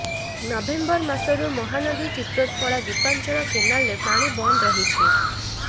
November ମାସରୁ ମହାନଦୀ ଚିତ୍ରୋତ୍ପଳା ଦ୍ୱୀପାଞ୍ଚଳ କେନାଲରେ ପାଣି ବନ୍ଦ ରହିଛି